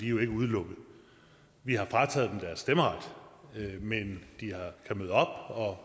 jo ikke udelukket vi har frataget deres stemmeret men de kan møde op og